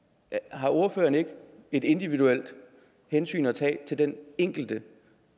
har ordføreren ikke et individuelt hensyn at tage til den enkelte